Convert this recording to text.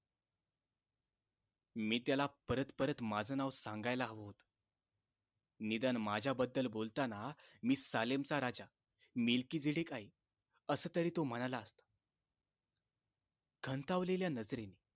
मी त्याला परत परत माझं नाव सांगायला हवं होत निदान माझ्याबद्दल बोलताना सालेमचा राजा नेलकीडीडीक आहे असं तरी तो म्हणाला असता खंतावलेल्या नजरेने